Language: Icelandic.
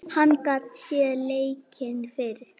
Hann gat séð leikinn fyrir.